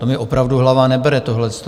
To mi opravdu hlava nebere, tohle.